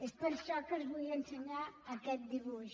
és per això que els vull ensenyar aquest dibuix